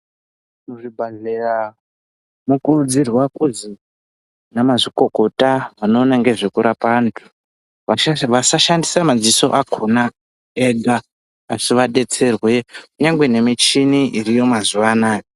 Muzvibhedhlera mokurudzirwa kuzi anamazvikokota anoita nezvekurapa antu vasashandise maziso akona ega asi vadetserwe kunyangwe nemichini iriyo mazuvanaya.